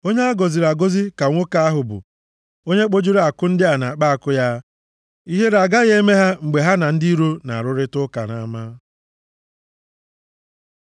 Onye a gọziri agọzi ka nwoke ahụ bụ onye kpojuru àkụ ndị a nʼakpa àkụ ya. Ihere agaghị eme ha mgbe ha na ndị iro na-arụrịta ụka nʼama.